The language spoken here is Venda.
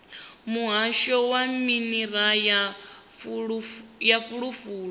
muhasho wa minerala na fulufulu